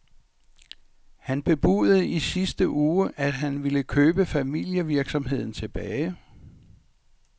Han bebudede i sidste uge, at han vil købe familievirksomheden tilbage.